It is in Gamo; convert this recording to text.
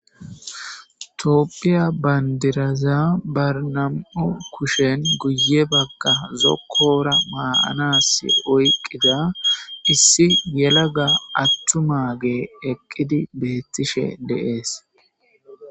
Tophiya bandiraza ba nam'u kushen guye Baga zokora mayas oyqida issi yelaga attumage eqidi betishe des.